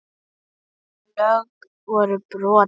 Þau lög voru brotin.